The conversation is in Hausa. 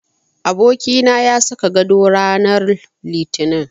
Abokina ya saka gado rananr Litinin.